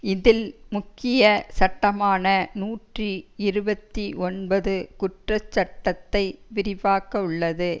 இதில் முக்கிய சட்டமான நூற்றி இருபத்தி ஒன்பது குற்றச்சட்டத்தை விரிவாக்கவுள்ளது